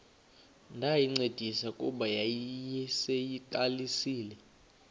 ndayincedisa kuba yayiseyiqalisile